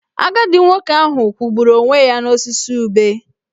Agadi nwoke ahụ kwụgburu onwe ya n'osisi ube.